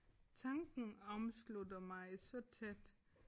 Tanken omslutter mig så tæt